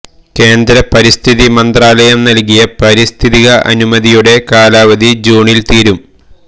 കേന്ദ്ര പരിസ്ഥിതി മന്ത്രാലയം നൽകിയ പാരിസ്ഥിതിക അനുമതിയുടെ കാലാവധി ജൂണിൽ തീരും